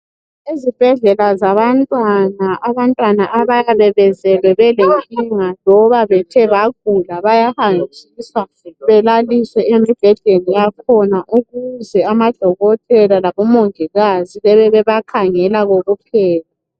Ezibhedlela zabantwana abantwana abayabe bazalwa belenkinga loba bagula bayahanjiswa belaliswe emubhedeni yakhona ukuze amadokotela labomongikazi bebe bebakhangela kokuphela.